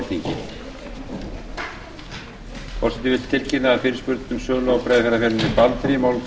forseti vill tilkynna að fyrirspurn um sölu á breiðafjarðarferjunni baldri mál